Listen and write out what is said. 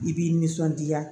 I b'i nisɔndiya